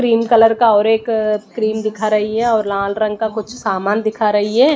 Cream colour का और एक क्रीम दिख रही है और लाल रंग का कुछ सामान दिखा रही है।